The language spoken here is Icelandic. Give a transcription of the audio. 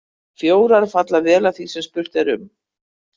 Fjórar falla vel að því sem spurt er um.